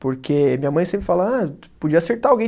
Porque minha mãe sempre fala, ah, podia acertar alguém.